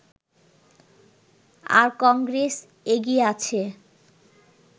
আর কংগ্রেস এগিয়ে আছে